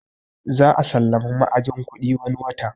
Za a sallami ma'ajin kuɗi wani watan